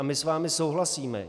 A my s vámi souhlasíme.